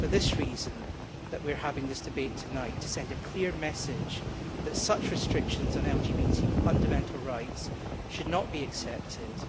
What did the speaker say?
It is for this reason that we are having this debate tonight to send a clear message that such restrictions on LGBT fundamental rights should not be accepted